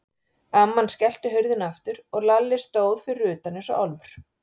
Amman skellti hurðinni aftur og Lalli stóð fyrir utan eins og álfur.